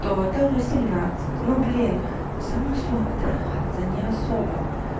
то это в восемнадцать ну блин само слово трахаться не особо